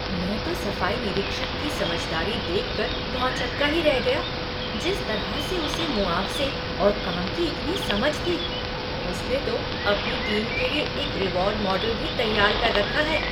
मैं तो सफाई निरीक्षक की समझदारी देखकर भौंचक्का ही रह गया, जिस तरह से उसे मुआवज़े और काम की इतनी समझ थी। उसने तो अपनी टीम के लिए एक रिवॉर्ड मॉडल भी तैयार कर रखा है।